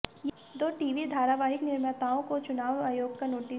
दो टीवी धारावाहिक निर्माताओं को चुनाव आयोग का नोटिस